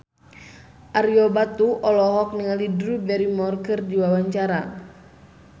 Ario Batu olohok ningali Drew Barrymore keur diwawancara